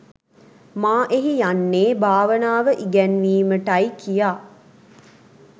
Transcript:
මා එහි යන්නේ භාවනාව ඉගැන්වීමට යි කියා.